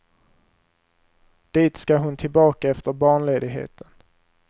Dit ska hon tillbaka efter barnledigheten.